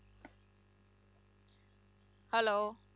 Hello